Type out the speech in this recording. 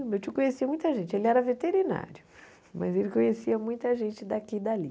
O meu tio conhecia muita gente, ele era veterinário, mas ele conhecia muita gente daqui e dali.